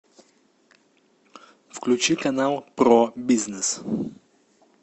включи канал про бизнес